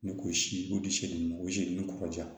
Ni k'o si o dusu ni kɔkɔja